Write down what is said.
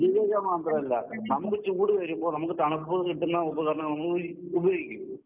ദുരുപയോഗം മാത്രമല്ല നമുക്ക് ചൂട് വരുമ്പം നമുക്ക് തണുപ്പ് കിട്ടുന്ന ഉപകരണങ്ങൾ ഉപ് ഉപയോഗിക്കോ?